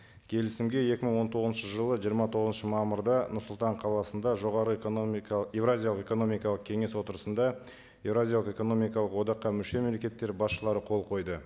келісімге екі мың он тоғызыншы жылы жиырма тоғызыншы мамырда нұр сұлтан қаласында жоғары экономикалық еуразиялық экономикалық кеңес отырысында еуразиялық экономикалық одаққа мүше мемлекеттері басшылары қол қойды